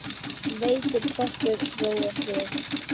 Veitir pottur ró og frið.